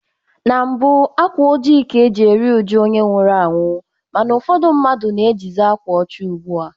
Na mbụ, akwa ojii ka e ji eri ụjụ onye nwụrụ anwụ mana ụfọdụ mmadụ na-ejizi akwa ọcha ugbu a.